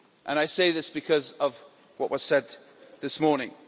I say this because of what was said this morning.